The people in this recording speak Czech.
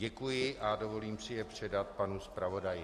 Děkuji a dovolím si je předat panu zpravodaji.